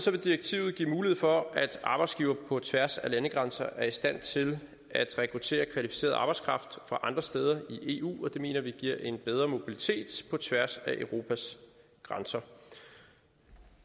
vil direktivet give mulighed for at arbejdsgivere på tværs af landegrænser er i stand til at rekruttere kvalificeret arbejdskraft fra andre steder i eu og det mener vi giver en bedre mobilitet på tværs af europas grænser